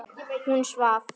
Hún svaf.